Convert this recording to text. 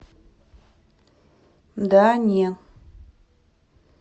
да не